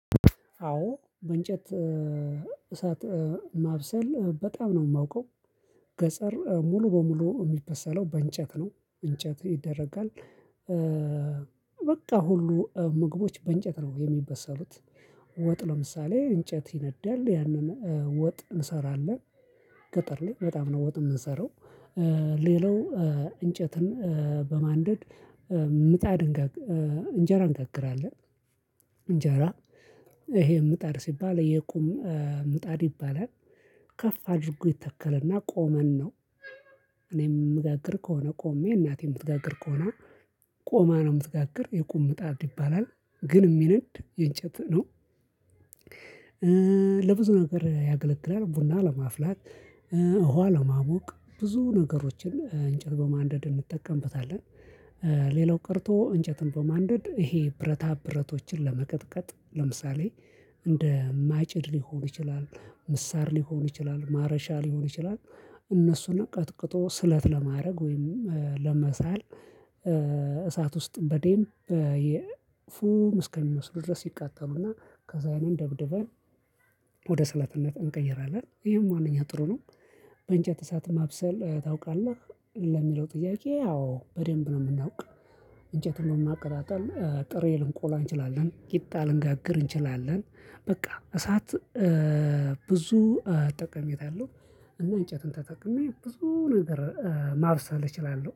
አዎ በእንጨት እሳት ማብሰል በጣም ነው የማውቀው። ገጸር ሙሉ በሙሉ የሚበሰለው በእንጨት ነው እንጨት ይደረጋል። በቃ ሁሉ ምግቦች በእንጨት ነው የሚበሰሉት። ወጥ ለምሳሌ እንጨት ይነዳል ያንን ወጥ እንሰራለን። ገጠር ላይ በጣም ነው ወጥ የምንሰራው። ሌላው እንጨትን በማንደድ ምጣድ እንጋግር እንጀራ እንጋግራለን። ይሄ ምጣድ ሲባል የቁም ምጣድ ይባላል። ከፍ አድርጎ ይተከለና ቆመን ነው። የምጋግር ከሆነ ቆሜ እናቴ የምትጋግር ከሆነ ቆማ ነው የምትጋግር የቁም ጣትድ ይባላል። ግን የሚነድ የእንጨት ነው። ለብዙ ነገር ያገለግላል ቡና ለማፍላት እውሀ ለማወቅ ብዙ ነገሮችን እንጨት በማንደድ እንጠቀምበታለን። ሌላው ቀርቶ እንጨትን በማንደድ ይሄ ብረታ ብረቶችን ለመቀጥቀጥ ለምሳሌ እንደ ማጭድ ሊሆን ይችላል? ምሳር ሊሆን ይችላል ማረሻ ሊሆን ይችላል። እነሱን ነው ቀጥቅጦ ስለት ለማድረግ ወይም ለመሳል። እሳት ውስጥ በዴም የ ፍም እስከሚመስሉ ድረስ ይቃጠሉና ከዛ ያንን ደብድበን ወደ ሰለትነት እንቀይራለን። ይሄም ዋናኛው ጥሩ ነው። በእንጨት እሳት ማብሰል ታውቃለህ? ለሚለው ጥያቄ አዎ በደንብ ነው የምናውቅ እንጨትን ነው በማቀጣጣል ጥሬ ልንቆላ እንችላለን ቂጣ ልንጋግር እንችላለን። በቃ እሳት ብዙ ጠቀሜታ አለው። እና እንጨትን ተጠቅሜ ብዙ ነገር ማብሰል እችላለሁ